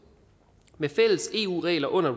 med fælles eu regler under